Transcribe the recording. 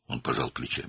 O, çiyinlərini çəkdi.